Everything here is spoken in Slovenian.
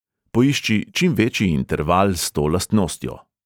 Poišči čim večji interval s to lastnostjo.